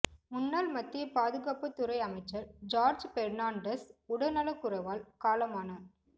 முன்னாள் மத்திய பாதுகாப்புத்துறை அமைச்சர் ஜார்ஜ் பெர்னான்டஸ் உடல்நலக் குறைவால் காலமானார்